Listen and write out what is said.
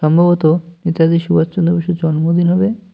সম্ভবত নেতাজি সুভাষচন্দ্র বসুর জন্মদিন হবে।